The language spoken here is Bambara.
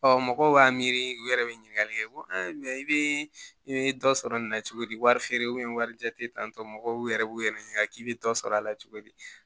mɔgɔw b'a miiri u yɛrɛ bɛ ɲininkali kɛ ko mɛ i bɛ i bɛ dɔ sɔrɔ nin na cogodi wari feere wari jate tantɔ mɔgɔw yɛrɛ b'u yɛrɛ ɲininka k'i bɛ dɔ sɔrɔ a la cogo di